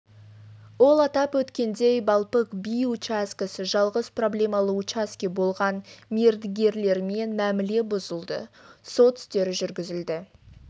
ол атап өткендей балпык би учаскесі жалғыз проблемалы учаске болған мердігерлермен мәміле бұзылды сот істері жүргізілді